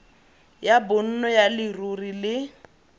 ya bonno ya leruri le